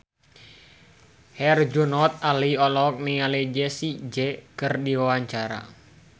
Herjunot Ali olohok ningali Jessie J keur diwawancara